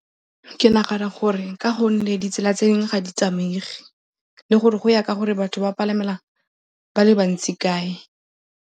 Ke nagana gore ka gonne ditsela tse dingwe ga di tsamaege le gore go ya ka gore batho ba palamela ba le bantsi kae.